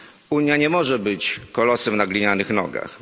Unia nie może być kolosem na glinianych nogach.